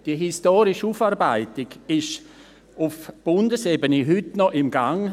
Die historische Aufarbeitung ist auf Bundesebene heute noch im Gange.